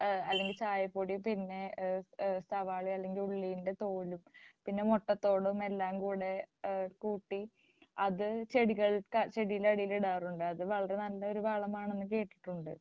ഏഹ് അല്ലെങ്കിൽ ചായപ്പൊടിയും പിന്നെ ഏഹ് ഏഹ് സവാള അല്ലെങ്കിൽ ഉള്ളിൻ്റെ തോട് പിന്നെ മുട്ടത്തോട് എല്ലാംകൂടെ ഏഹ് കൂട്ടി അത് ചെടികൾക്ക് ചെടിയുടെ അടിയിലിടാറുണ്ട് അത് വളരെ നല്ലൊരു വളമാണെന്ന് കേട്ടിട്ടുണ്ട്.